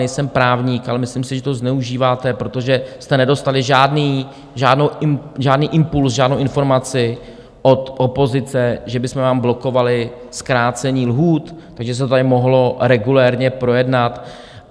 Nejsem právník, ale myslím si, že to zneužíváte, protože jste nedostali žádný impulz, žádnou informaci od opozice, že bychom vám blokovali zkrácení lhůt, takže se to tady mohlo regulérně projednat.